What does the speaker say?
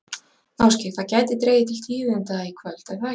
Ásgeir, það gæti dregið til tíðinda í kvöld, er það ekki?